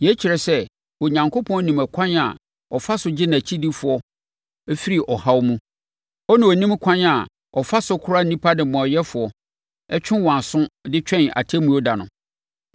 Yei kyerɛ sɛ Onyankopɔn nim ɛkwan a ɔfa so gye nʼakyidifoɔ firi ɔhaw mu, ɛnna ɔnim ɛkwan a ɔfa so kora nnipa nnebɔneyɛfoɔ, twe wɔn aso de twɛn Atemmuo da no,